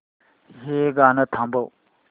हे गाणं थांबव